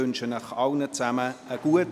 Ich wünsche Ihnen allen einen guten Appetit.